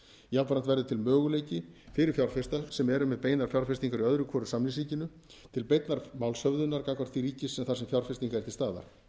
jafnframt verður til möguleiki fyrir fjárfesta sem eru með beinar fjárfestingar í öðru hvoru samningsríkinu til beinnar málshöfðunar gagnvart því ríki þar sem fjárfesting er til staðar þeir